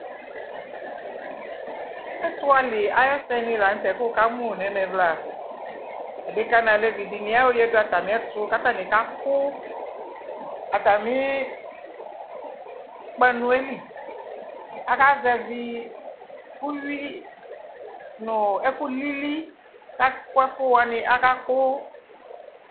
ɛto ali ayo ɛsɛ ni lantɛ ko wo ka mo no ɛmɛ ɛvla adeka no alevi di ayo ya do atami ɛto ko atami ka ko atami kpanue li aka zɛvi uwi no ɛko lili ko aka ko ɛfu wani aka ko